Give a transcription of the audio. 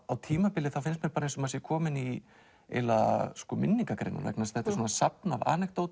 á tímabili finnst mér eins og maður sé kominn í minningagreinar þetta er safn af